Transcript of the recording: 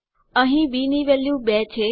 અહીં બી ની વેલ્યુ 2 છે